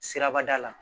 Sirabada la